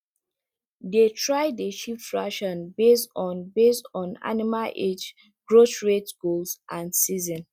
they try dey shift ration based on based on animal age growth rate goals and season